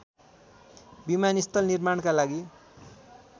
विमानस्थल निर्माणका लागि